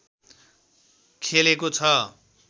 खेलेको छ